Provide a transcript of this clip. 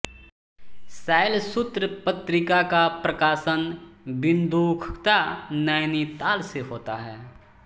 शैल सूत्र पत्रिका का प्रकाशन बिन्दुखत्ता नैनीताल से होता है